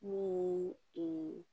N'o ye